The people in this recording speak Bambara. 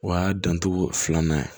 O y'a dancogo filanan ye